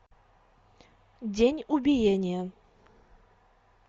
день убиения